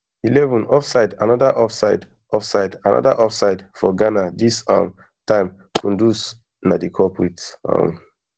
eleven offsideanoda offside offsideanoda offside for ghana dis um time kudus na di culprit um